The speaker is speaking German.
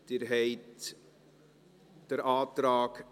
Abstimmung (Art. 2 Abs. 3a [neu];